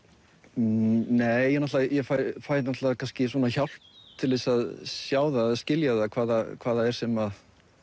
nei ég fæ náttúrulega hjálp til að sjá eða skilja hvað það hvað það er sem